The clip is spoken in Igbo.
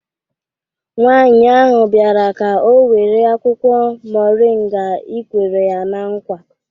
Nwaanyi ahụ biara ka ọ were akwụkwo moringa ị kwere ya na nkwa